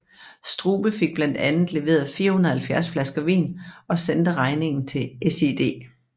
Strube fik blandt andet leveret 470 flasker vin og sendte regningen til SiD